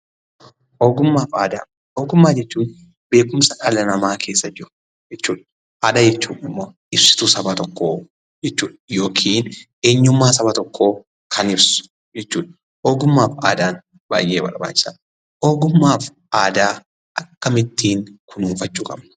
Ogummaa fi Aadaa: Ogummaa jechuun beekumsa dhala namaa keessa jiru jechuudha. Aadaa jechuun immoo ibsituu saba tokkoo jechuudha yookiin eehyummaa saba tokkoo kan ibsu jechuudha. Ogummaa fi Aadaan baay'ee barbaachisaadha. Ogummaa fi Aadaa akkamiin kunuunfachuu qabna?